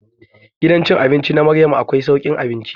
Gidan cin abinci na Maryam akwai saukin abinci.